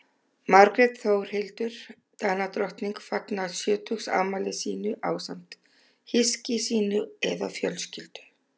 Margrét Þórhildur Danadrottning fagnar sjötugsafmæli sínu ásamt hyski sínu eða fjölskyldu.